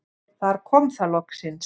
Þar kom það loksins.